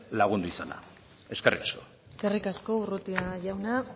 lagundu izana eskerrik asko eskerrik asko urrutia jauna